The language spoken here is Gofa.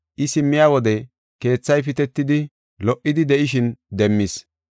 I simmiya wode keethay pitetidi lo77idi de7ishin demmis.